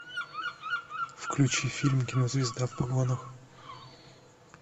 включи фильм кинозвезда в погонах